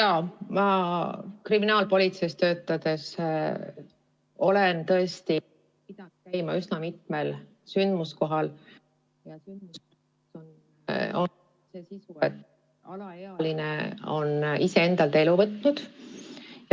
Jaa, ma olen kriminaalpolitseis töötades tõesti pidanud käima üsna mitmel sündmuskohal, kus alaealine on iseendalt elu võtnud.